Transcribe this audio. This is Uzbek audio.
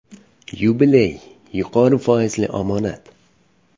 “Yubiley” yuqori foizli omonat.